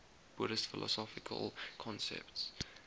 buddhist philosophical concepts